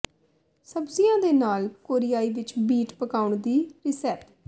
ਸਬਜ਼ੀਆਂ ਦੇ ਨਾਲ ਕੋਰੀਆਈ ਵਿੱਚ ਬੀਟ ਪਕਾਉਣ ਦੀ ਰਿਸੈਪ